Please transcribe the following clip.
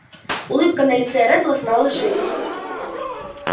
улыбка на лице реддла стала шире